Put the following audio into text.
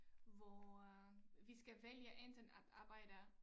Hvor øh vi skal vælge enten at arbejde